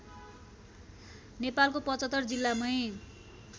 नेपालको ७५ जिल्लामै